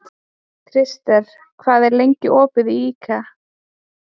Krister, hvað er lengi opið í IKEA?